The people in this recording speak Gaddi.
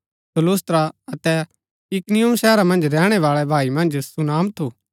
सो लुस्त्रा अतै इकुनियुम शहरा मन्ज रैहणै बाळै भाई मन्ज सुनाम थु